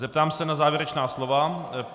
Zeptám se na závěrečná slova.